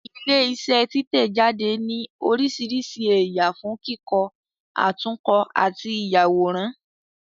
Ilé iṣẹ́ títẹ̀-jáde ní oríṣiríṣi ẹ̀yà fún kíkọ, àtúnkọ àti ìyàwòrán